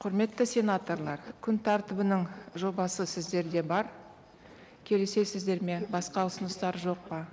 құрметті сенаторлар күн тәртібінің жобасы сіздерде бар келісесіздер ме басқа ұсыныстар жоқ па